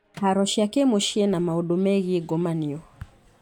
Haro cia kĩmũciĩ na maũndũ megiĩ ngomanio